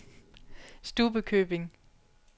Stubbekøbing